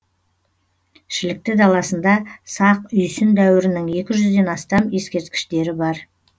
шілікті даласында сақ үйсін дәуірінің екі жүзден астам ескерткіштері бар